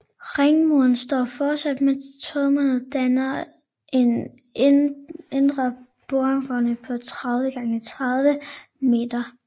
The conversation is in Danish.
Ringmuren står fortsat med tårnene og danner en indre borggård på 30 x 30 m